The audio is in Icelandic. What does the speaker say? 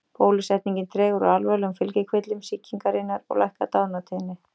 Bólusetningin dregur úr alvarlegum fylgikvillum sýkingarinnar og lækkar dánartíðni.